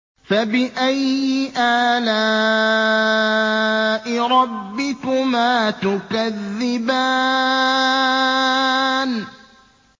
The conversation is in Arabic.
فَبِأَيِّ آلَاءِ رَبِّكُمَا تُكَذِّبَانِ